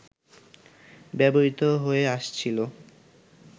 ব্যবহৃত হয়ে আসছিল